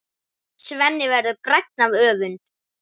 Svenni verður grænn af öfund.